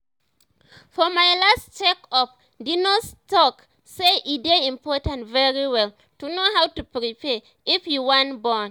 for my last check upthe nurse talk say e dey important very well to know how to prepare if you wan born